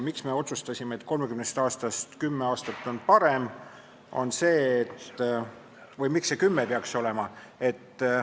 Miks me otsustasime, et 10 aastat on 30 aastast parem või miks see peaks 10 aastat olema?